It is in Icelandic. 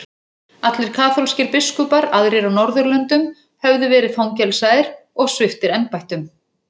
Allir kaþólskir biskupar aðrir á norðurlöndum höfðu verið fangelsaðir og sviptir embættum.